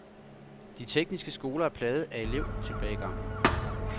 De tekniske skoler er plaget af elevtilbagegang.